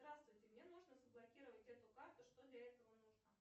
здравствуйте мне нужно заблокировать эту карту что для этого нужно